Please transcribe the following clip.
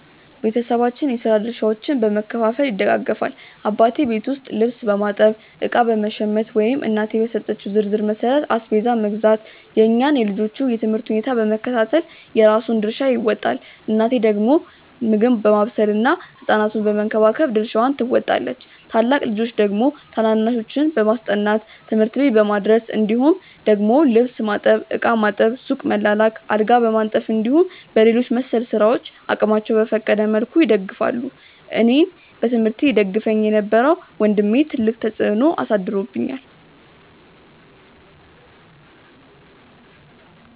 ቤተሰባችን የስራ ድርሻዎችን በመከፋፈል ይደጋገፋል። አባቴ ቤት ውስጥ ልብስ በማጠብ፣ እቃ በመሸመት ወይም እናቴ በሰጠችው ዝርዝር መሠረት አስቤዛ መግዛት፣ የእኛን የልጆቹን የ ትምህርት ሁኔታ በመከታተል የራሱን ድርሻ ይወጣል። እናቴ ደግሞ ምግብ ማብሰል ህ ሕፃናቱን በመንከባከብ ድርሻዋን ትወጣለች። ታላቅ ልጆች ደግሞ ታናናሾችን በማስጠናት፣ ትምህርት ቤት በማድረስ እንዲሁም ደግሞ ልብስ ማጠብ፣ ዕቃ ማጠብ፣ ሱቅ መላላክ፣ አልጋ በማንጠፍ እንዲሁም በሌሎች መሰል ስራዎች አቅማቸው በፈቀደ መልኩ ይደግፋሉ። አኔን በትምህርቴ ይደግፈኝ የነበረው ወንድሜ ትልቅ ተፅዕኖ አሳድሮብኛል።